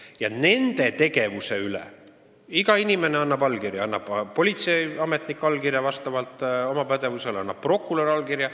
Ja nendes toimingutes iga inimene annab oma allkirja, annab politseiametnik oma allkirja vastavalt oma pädevusele ja annab ka prokurör oma allkirja.